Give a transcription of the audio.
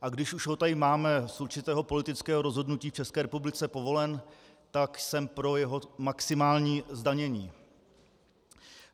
A když už ho tady máme z určitého politického rozhodnutí v České republice povolen, tak jsem pro jeho maximální zdanění.